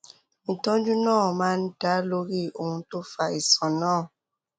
ìtọjú náà máa ń dá lórí ohun tó fa àìsàn náà